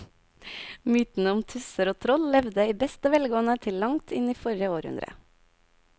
Mytene om tusser og troll levde i beste velgående til langt inn i forrige århundre.